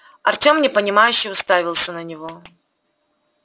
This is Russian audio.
артем непонимающе уставился на него